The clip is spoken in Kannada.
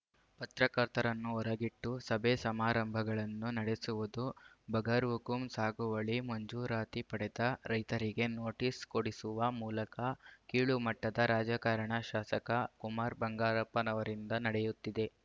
ಪತ್ರಕರ್ತರನ್ನು ಹೊರಗಿಟ್ಟು ಸಭೆಸಮಾರಂಭಗಳನ್ನು ನಡೆಸುವುದು ಬಗರ್‌ಹುಕುಂ ಸಾಗುವಳಿ ಮಂಜೂರಾತಿ ಪಡೆದ ರೈತರಿಗೆ ನೋಟಿಸ್‌ ಕೊಡಿಸುವ ಮೂಲಕ ಕೀಳುಮಟ್ಟದ ರಾಜಕಾರಣ ಶಾಸಕ ಕುಮಾರ್‌ಬಂಗಾರಪ್ಪನವರಿಂದ ನಡೆಯುತ್ತಿದೆ